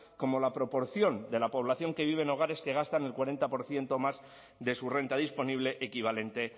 como la proporción de la población que vive en hogares que gastan el cuarenta por ciento más de su renta disponible equivalente